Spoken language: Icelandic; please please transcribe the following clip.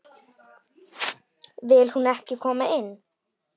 Vill hún ekki koma inn?